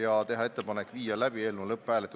ja teha ettepanek viia läbi eelnõu lõpphääletus.